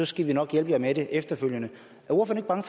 skal vi nok hjælpe jer med det efterfølgende er ordføreren